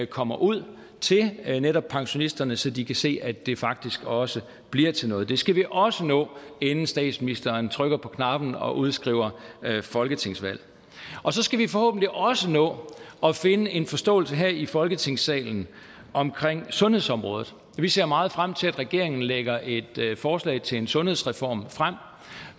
kommer ud til netop pensionisterne så de kan se at det faktisk også bliver til noget det skal vi også nå inden statsministeren trykker på knappen og udskriver folketingsvalg og så skal vi forhåbentlig også nå at finde en forståelse her i folketingssalen omkring sundhedsområdet vi ser meget frem til at regeringen lægger et forslag til en sundhedsreform frem